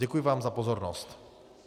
Děkuji vám za pozornost.